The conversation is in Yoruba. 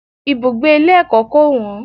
Ibùgbé ilé ẹ̀kọ́ kò wọ́n.